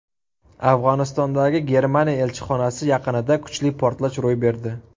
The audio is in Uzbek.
Afg‘onistondagi Germaniya elchixonasi yaqinida kuchli portlash ro‘y berdi.